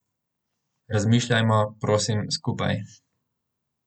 Razmišljajmo, prosim, skupaj.